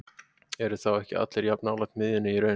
Eru þá ekki allir jafn nálægt miðjunni í raun?